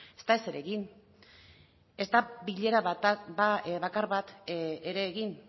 ez da ezer egin ez da bilera bat bakar bat ere egin